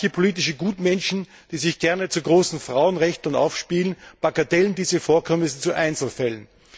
Und manche politische Gutmenschen, die sich gerne zu großen Frauenrechtlern aufspielen, bagatellisieren diese Vorkommnisse zu Einzelfällen.